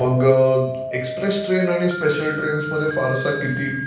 express train आणि special ट्रेनमध्ये फारसा किती...